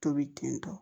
Tobi tentɔ